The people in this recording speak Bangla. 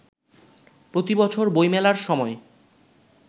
প্রতিবছর বইমেলার সময়